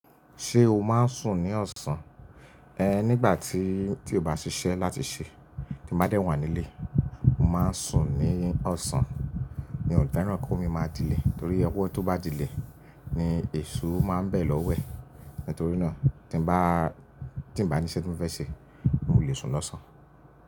Ṣé o máa ń sùn ní ọ̀sán? Nígbà tí, tí kò bá ṣiṣẹ́ láti ṣe, tí mo bá dẹ́ wà nílé, mo máa ń sùn ní ọ̀sán. N ó feran ki owo mi máa dilẹ̀ torí owọ́ tó bá dilẹ̀ ni èṣù máa ń bẹ̀ lọwẹ̀. Nítorí náà tí n bá, tí n bá ní iṣe tí mo fẹ́ ṣe, mo lè sùn lọ́sàn.